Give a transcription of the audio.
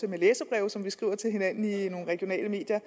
læserbreve som vi skriver til hinanden i nogle regionale medier